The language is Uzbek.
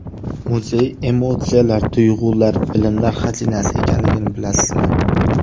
Muzey emotsiyalar, tuyg‘ular, bilimlar xazinasi ekanligini bilasizmi?